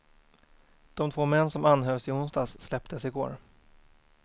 De två män som anhölls i onsdags släpptes i går.